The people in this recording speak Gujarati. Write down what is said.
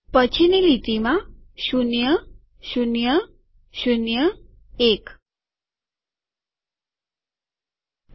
પછીની લીટીમાંશૂન્યશૂન્યશૂન્યએક